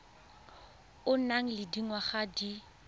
o nang le dingwaga di